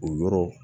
O yɔrɔ